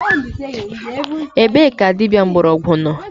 Ebe ka dịbịa mgborogwu nọ?